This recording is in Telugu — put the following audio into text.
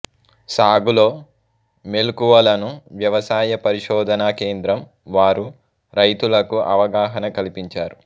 సాగులో మెలకువలను వ్యవసాయ పరిశోధనా కేంద్రం వారు రైతులకు అవగాహన కల్పించారు